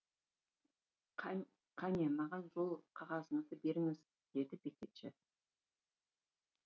қане маған жол қағазыңызды беріңіз деді бекетші